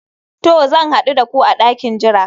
To, zan hadu da ku a dakin jira